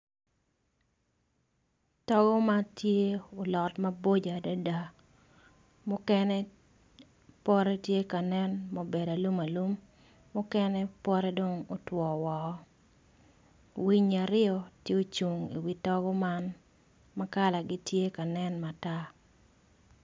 Togo ma gulot maboco adada muken otwo woko winyi aryo gucung i wi togo man